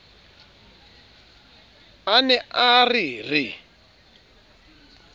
a ne a re re